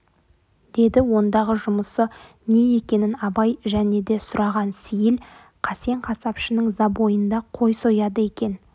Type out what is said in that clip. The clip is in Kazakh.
деді ондағы жұмысы не екенін абай және де сұраған сейіл қасен қасапшының забойында қой сояды екен